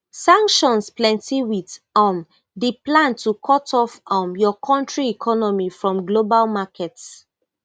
sanctions plenty wit um di plan to cut off um your country economy from global markets